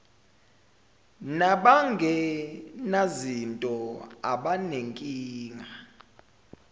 naban genazinto abanenkinga